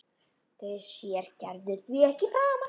Þau sér Gerður því ekki framar.